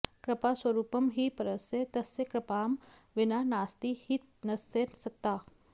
कृपा स्वरूपं हि परस्य तस्य कृपां विना नास्ति हि तस्य सत्ता